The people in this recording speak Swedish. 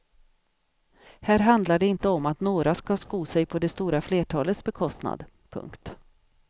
Här handlar det inte om att några ska sko sig på det stora flertalets bekostnad. punkt